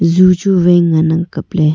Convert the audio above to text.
ju chu wai ngan ang kap ley.